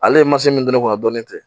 Ale ye masini min don ne kunna dɔɔnin tɛ